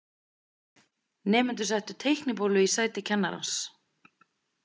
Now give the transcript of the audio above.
Nemendurnir settu teiknibólu í sæti kennarans.